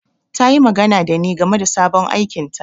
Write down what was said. Ta yi magana da ni game da sabon aikinta.